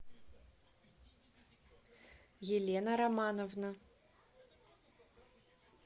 елена романовна